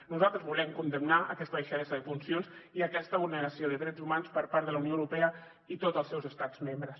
nosaltres volem condemnar aquesta deixadesa de funcions i aquesta vulneració de drets humans per part de la unió europea i tots els seus estats membres